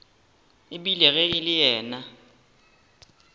ebile ge e le yena